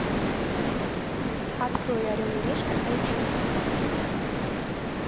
открой орел и решка эйч ди